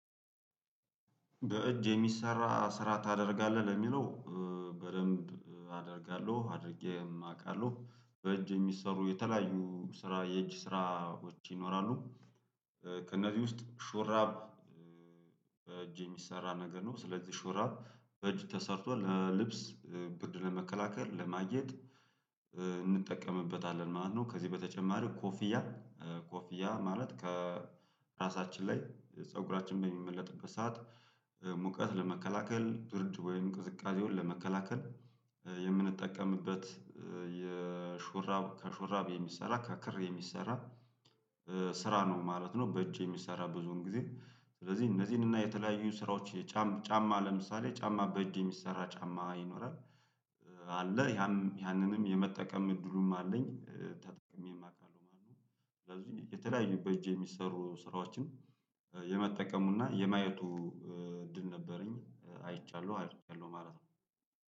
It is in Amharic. በእጅ የሚሰራ ስራ ታደርጋለህ ለሚለው በደንብ አደርጋለሁ አድርጌ አውቃለሁ። በእጅ የሚሰሩ የተለያዩ ስራ የእጅ ስራዎች ይኖራሉ። ከእነዚህ ውስጥ ሹራብ። በእጅ የሚሰራ ነገር ነው ስለዚህ ሹራብ በእጅ ተሰርቷል ለልብስ ብድር ለመከላከል ለማየት እንጠቀምበታለን ማለት ነው። ከዚህ በተጨማሪ ኮፊያ። ኮፊያ ማለት ከራሳችን ላይ ፀጉራችን በሚመለጥበት ሰዓት። ሙቀት ለመከላከል ድርድብ ወይም ቅዝቃዜውን ለመከላከል የምንጠቀምበት። የሹራብ ከሹራብ የሚሰራ ከክር የሚሰራ ስራ ነው ማለት ነው። በእጅ የሚሰራ ብዙን ጊዜ ስለዚህ እነዚህን እና የተለያዩ ስራዎች የጫማ ለምሳሌ ጫማ በእጅ የሚሰራ ጫማ ይኖራል። አለ ያንንም ያንንም የመጠቀም እድሉም አለኝ ተጠቅሜ አውቃለሁ ማለት ነው። ስለዚህ የተለያዩ በእጄ የሚሰሩ ስራዎችን የመጠቀሙና የማየቱ እድል ነበረኝ አይቻለሁ አይቻለሁ ማለት ነው